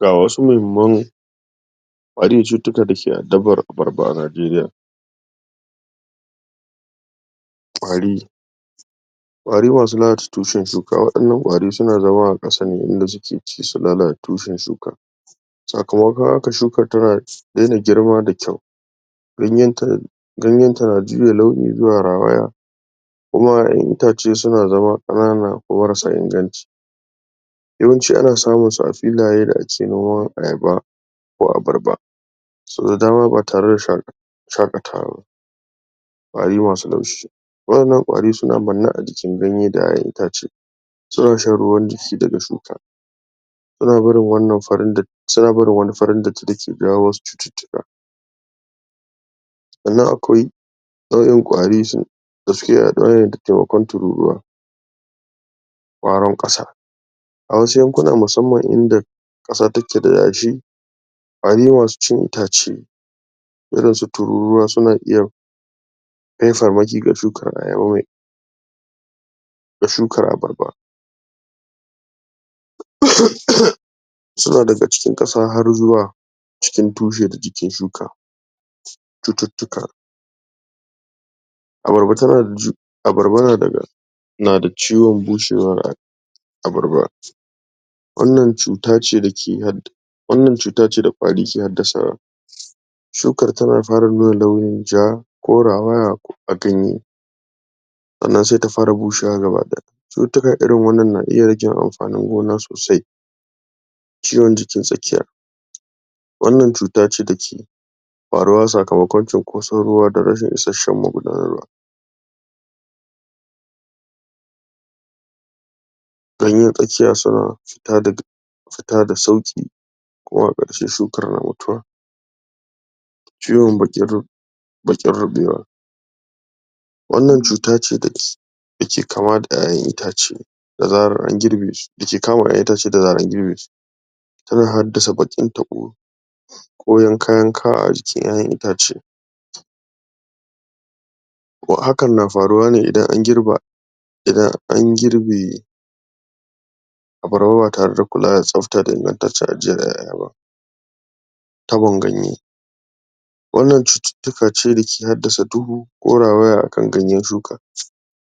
ga wasu mahimman cututtuka dake addabar abarba a najeriya. ƙwari kwari masu lalata tushen shuka waɗannan ƙwari suna zama a ƙasa ne inda suke ci su lalata tushen shuka sakamakon haka shukan tana daina girma da kyau ganyen ta ganyen ta na juya launi zuwa rawaya itace suna zama ƙanana ko marasa inganci yawanci ana samun su a filaye da ake noman ayaba ko abarba. to idan an haɗa tareda sha shaƙatawa ƙwari masu laushi wa'innan ƙwari suna manne a jikin ganye da ƴaƴan itace suna shan ruwan jishi daga shuka suna barin wannan farin da suna barin wani farin datti dake jawo was cututtuka amma akwai ƴaƴan ƙwari su da suke adawa da taimakon tururuwa ƙwaron ƙasa a wasu yankuna musamman inda ƙasa take da yashi ƙwari masu cin itace irin su tururuwa suna iya ko shukar abarba suna daɓe cikin ƙasa har zuwa cikin tushe da jikin shuka. cututtuka abarba tana da ju abarba na daga nada ciwon bushewa abarba wannan cutace dake hadda wannan cutace da ƙwari ke haddasa wa. shukar tana fara nuna launin ja ko rawaya a ganye. sannan sai ta fara bushewa gaba ɗaya. cututtuka irin wanna na iya rage amfanin gona sosai ciwon jikin tsakiya wannan cutace dake faruwa sakamakon cinkoson ruwa da rashin isasshen magudanan ruwa ganyen tsakiya suna fita da fita da sauƙi kuma a ƙarshe sun fara lalatuwa ciwon dake deke ruɓewa wannan cuta ce dake dake kama da ƴaƴan itace da zaran an girbe su dake kama ƴaƴan itace da zaran an girbe su. tana haddasa baƙin tabo ko yanka yanka a jikin ƴaƴan itace. hakan na faruwa ne idan an girba idan an girbe abarba ba tare da kulawa da tsafta da ingantanccen ajjiyar ƴaƴa ba. tabon ganye wannan cututtuka ce dake haddasa duhu ko rawaya akan ganyen shuka.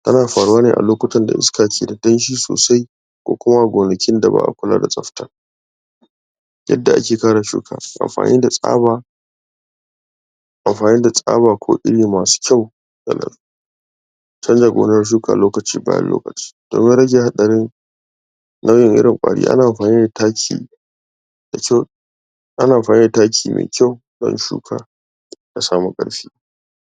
tana faruwa ne a lokuktan da iska keda danshi sosai ko kuma a gonakin da ba'a kula da tsafta yadda ake kare shuka amfani da tsaba amfani da tsaba ko iri masu kyau canza gonar shuka lokaci bayan lokaci domin rage haɗarin wannan irin ƙwari ana amfani da taki ana amfani da taki mai kyau yayin shuka ta samu ƙarfi